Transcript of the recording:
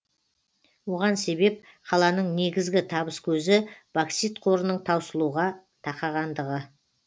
оған себеп қаланың негізгі табыс көзі боксит қорының таусылуға тақағандығы